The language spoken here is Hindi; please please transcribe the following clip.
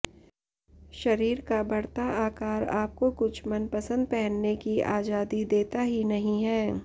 शरीर का बढ़ता आकार आपको कुछ मनपसंद पहनने की आजादी देता ही नहीं है